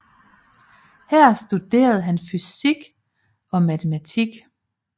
Her studerede han fysik og matematik